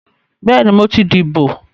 Bẹ́ẹ̀ni, mo ti dìbò